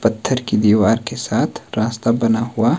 पत्थर की दीवार के साथ रास्ता बना हुआ--